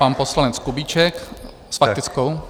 Pan poslanec Kubíček s faktickou.